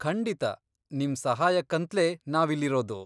ಖಂಡಿತ, ನಿಮ್ ಸಹಾಯಕ್ಕಂತ್ಲೇ ನಾವಿಲ್ಲಿರೋದು.